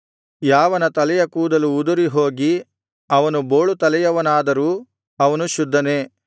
ಯಾವನ ತಲೆಯ ಕೂದಲು ಉದುರಿ ಹೋಗಿ ಅವನು ಬೋಳುತಲೆಯವನಾದರೂ ಅವನು ಶುದ್ಧನೇ